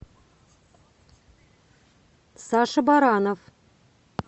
саша баранов